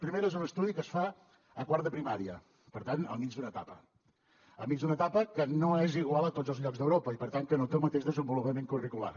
primera és un estudi que es fa a quart de primària per tant al mig d’una etapa al mig d’una etapa que no és igual a tots els llocs d’europa i per tant que no té el mateix desenvolupament curricular